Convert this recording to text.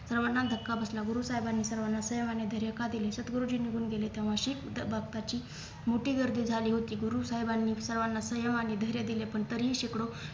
सर्वांना धक्का बसला गुरु साहेबांनी सर्वांना सेवा आणि धैर्य का दिले सद्गुरुजी निघून गेले तेव्हा शिख मोठी गर्दी झाली होती गुरु साहेबांनी सर्वांना सेवा आणि धैर्य दिले पण तरीही शेकडो